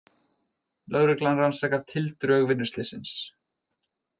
Lögreglan rannsakar tildrög vinnuslyssins